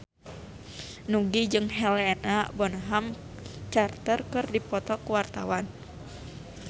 Nugie jeung Helena Bonham Carter keur dipoto ku wartawan